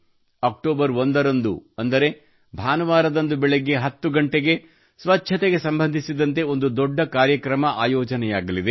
October 1 ರಂದು ಅಂದರೆ ಭಾನುವಾರದಂದು ಬೆಳಿಗ್ಗೆ 10 ಗಂಟೆಗೆ ಸ್ವಚ್ಛತೆಗೆ ಸಂಬಂಧಿಸಿದಂತೆ ಒಂದು ದೊಡ್ಡ ಕಾರ್ಯಕ್ರಮ ಆಯೋಜನೆಯಾಗಲಿದೆ